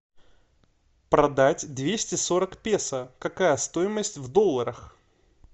продать двести сорок песо какая стоимость в долларах